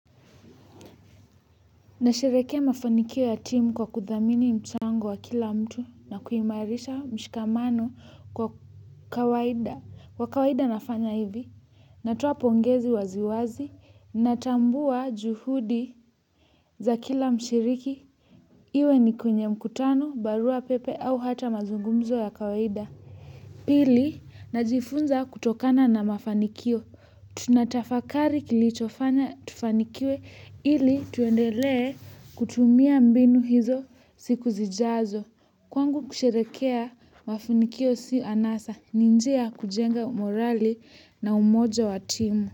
Nasherehekea mafanikio ya timu kwa kuthamini mchango wa kila mtu na kuimarisha mshikamano kwa kawaida. Kwa kawaida nafanya hivi, natoa pongezi waziwazi, natambua juhudi za kila mshiriki. Iwe ni kwenye mkutano, barua pepe au hata mazungumzo ya kawaida. Pili, najifunza kutokana na mafanikio. Tunatafakari kilichofanya tufanikiwe ili tuendelee kutumia mbinu hizo siku zijazo. Kwangu kusherehekea mafanikio si anasa ni njia ya kujenga morali na umoja wa timu.